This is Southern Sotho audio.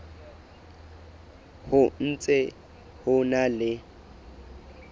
ho ntse ho na le